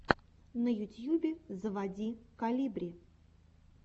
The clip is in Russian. на ютьюбе заводи колибри